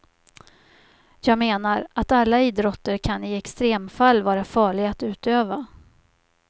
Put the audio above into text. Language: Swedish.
Jag menar, att alla idrotter kan i extremfall vara farliga att utöva.